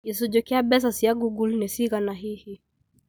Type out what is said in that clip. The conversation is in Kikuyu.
gĩcunjĩ kĩa mbeca cia google ni cigana hihi